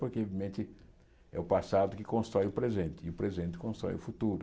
Porque, mente, é o passado que constrói o presente e o presente constrói o futuro.